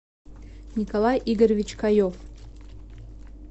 николай игоревич каев